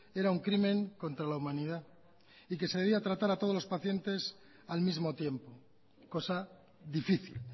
era un crimen contra la humanidad y que se debía tratar a todos los pacientes al mismo tiempo cosa difícil